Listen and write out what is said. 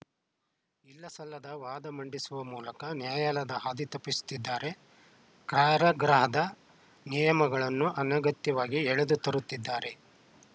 ಇಲ್ಲಸಲ್ಲದ ವಾದ ಮಂಡಿಸುವ ಮೂಲಕ ನ್ಯಾಯಾಲಯದ ಹಾದಿ ತಪ್ಪಿಸುತ್ತಿದ್ದಾರೆ ಕಾರಾಗೃಹದ ನಿಯಮಗಳನ್ನು ಅನಗತ್ಯವಾಗಿ ಎಳೆದು ತರುತ್ತಿದ್ದಾರೆ